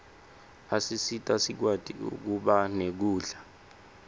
asisita sikwati kuba nekudla